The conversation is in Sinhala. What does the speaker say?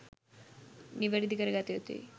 නිවැරදි කර ගතයුතුයි.